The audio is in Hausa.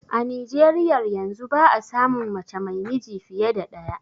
A Nijeriyar yanzu ba a samun mace mai miji fiye da ɗaya